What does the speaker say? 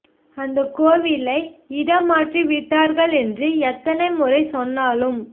அந்தக் கோவிலை இடம் மாற்றி விட்டார்கள் என்று எத்தனை முறை சொன்னாலும்